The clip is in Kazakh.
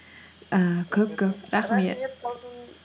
ііі көп көп рахмет талшын